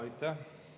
Aitäh!